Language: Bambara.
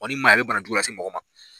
ni man ɲi a bɛ bana jugu lase mɔgɔ ma.